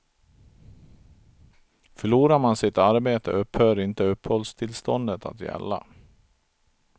Förlorar man sitt arbete, upphör inte uppehållstillståndet att gälla.